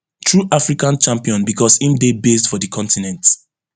true african champion becos im dey based for di continent